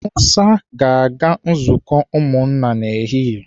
Musa ga-aga nzukọ ụmụnna n'ehihie